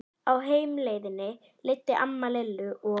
Á heimleiðinni leiddi amma Lillu og